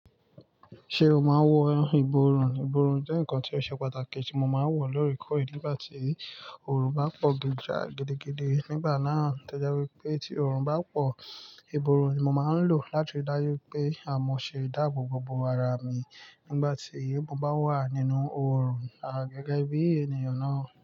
Ṣé o máa wọ ìborùn? Ìborùn jẹ́ nǹkan tí ó ṣe pàtàkì tí mo máa ń wọ̀ lóòrèkóòrè nígbà tí oòrùn bá pọ̀ gíjá gidigidi. Nígbà náà, tẹ jẹ́ wípé tí oòrùn bá pọ̀, ìborùn ni mo máa ń lò láti dáyé pé àmọ̀ ṣe dáàbò bo ara mi nígbà tí èébù bá wà nínú oòrùn. À gẹ́gẹ́ bí ènìyàn náà.